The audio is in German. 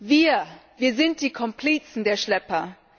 Wir sind die Komplizen der Schlepper.